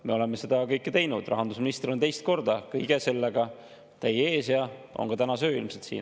Me oleme kõike seda teinud, rahandusminister on teist korda kõige sellega teie ees ja on ka tänase öö ilmselt siin.